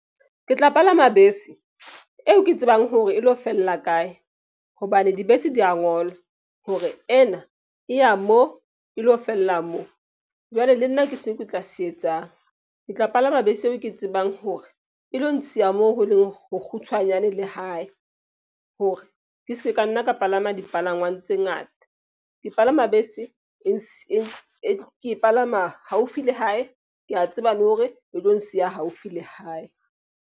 Ke tla palama bese eo ke tsebang hore e lo fella kae. Hobane dibese di ya ngolwa hore ena e ya moo e lo fella moo. Jwale le nna ke se ke tla se etsang. Ke tla palama bese eo ke tsebang hore e lo nsiya moo ho leng ho kgutshwanyane le hae hore ke ske ka nna ka palama dipalangwang tse ngata. Ke palama bese ke palama haufi le hae. Ke a tseba le hore e tlo nsiya haufi le hae.